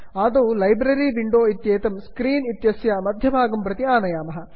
आदौ library library window इत्येतत् screen इत्यस्य मध्यभागं प्रति आनयामः